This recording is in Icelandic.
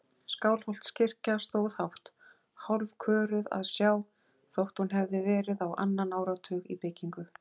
Skálholtskirkja stóð hátt, hálfköruð að sjá þótt hún hefði verið á annan áratug í byggingu.